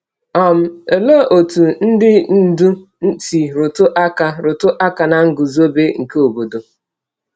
um Olee otú ndị ndú si rụtụ aka rụtụ aka na nguzobe nke obodo?